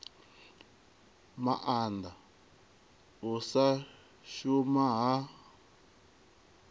maanda u sa shuma ha